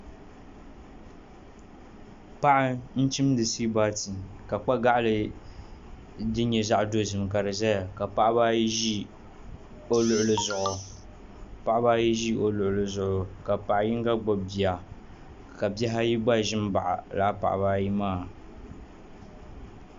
Paɣa n chimdi suwiit baari ka kpa gaɣali din nyɛ zaɣ dozim ka di ʒɛya Paɣaba ayi ʒi o luɣuli zuɣu ka paɣa yinga gbubi bia ka bihi ayi gba ʒin bahi laa paɣaa ayi maa